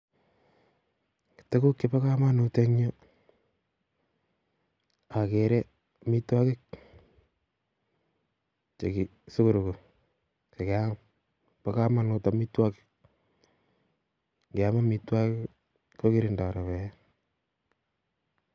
Tukuk chebo kamanut eng yu agere amitwokik, chekisoroko sikem, bo kamanut amitwokik keam amitwokik kokirindo ribet